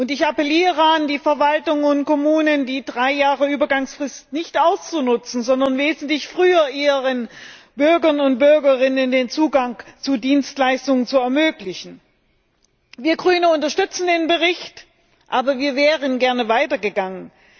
Ich appelliere an die Verwaltungen und Kommunen, die drei Jahre Übergangsfrist nicht auszunutzen, sondern wesentlich früher ihren Bürgern und Bürgerinnen den Zugang zu Dienstleistungen zu ermöglichen. Wir als Grüne unterstützen den Bericht, aber wir wären gerne weiter gegangen.